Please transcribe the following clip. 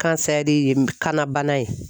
Kansɛri ye kana bana ye